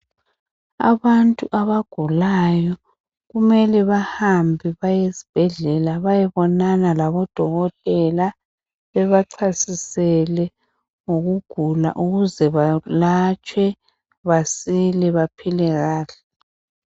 Abantu abagulayo kumele bahambe bayesibhedlela baye bonana labodokothela bebacasisele ukugula ukuze bayelatshwe basile baphile kahle.